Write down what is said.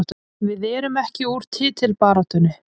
Við erum ekki úr titilbaráttunni